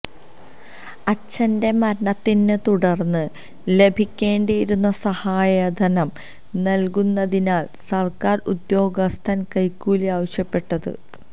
അച്ഛന്റെ മരണത്തെത്തുടർന്ന് ലഭിക്കേണ്ടിയിരുന്ന സഹായധനം നൽകുന്നതിനാണ് സര്ക്കാര് ഉദ്യോഗസ്ഥന് കൈക്കൂലി ആവശ്യപ്പെട്ടത്